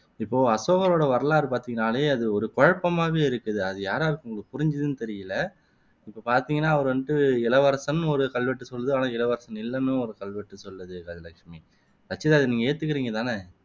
இப்போ அசோகரோட வரலாறை பாத்தீன்னால அது ஒரே குழப்பமா இருக்குது அது யார் யாருக்கு புரிஞ்சுதுனு தெரியல இப்போ பாத்தீங்கன்னாஅவரு வந்து இளவரசன்னு ஒரு கல்வெட்டு சொல்லுது இளவரசன் இல்லன்னும் ஒரு கல்வெட்டு சொல்லுது கஜலட்சுமி ரச்சிதா இதை ஏத்துக்குறீங்க தானே